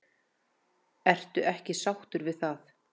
Ertu ekki sáttur við það?